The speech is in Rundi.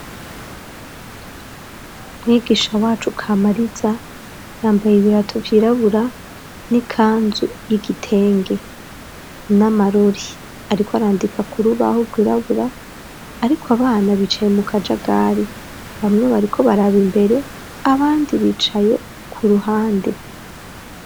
Mwigisha wacu kamariza yambaye ibirato vyirabura n'ikanzu y'igitenge n'amarori ariko arandika ku rubahu rwirabura ariko abana bicaye mu kajagari bamwe bariko baraba imbere abandi bicaye ku ruhande.